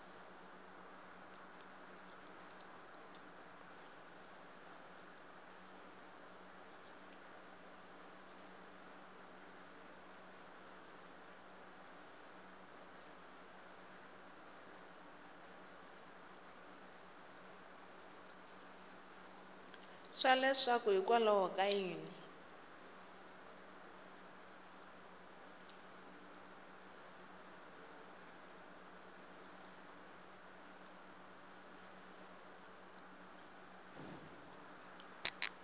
swa leswaku hikwalaho ka yini